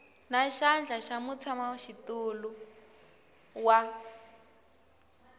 na xandla xa mutshamaxitulu wa